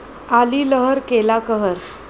आली लहर केला कहर